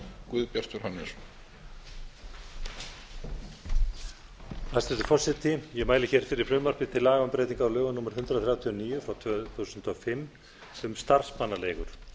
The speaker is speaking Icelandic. hæstvirtur forseti ég mæli hér fyrir frumvarpi til laga um breytingu á lögum númer hundrað þrjátíu og níu tvö þúsund og fimm um starfsmannaleigur